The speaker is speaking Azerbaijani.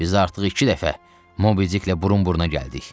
Biz artıq iki dəfə Mobidklə burun-buruna gəldik.